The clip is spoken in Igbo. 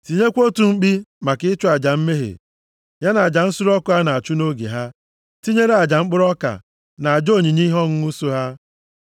Tinyekwa otu mkpi maka ịchụ aja mmehie ya na aja nsure ọkụ a na-achụ nʼoge ha, tinyere aja mkpụrụ ọka, na aja onyinye ihe ọṅụṅụ so ha.